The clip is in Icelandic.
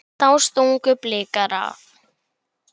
Þá stungu Blikar af.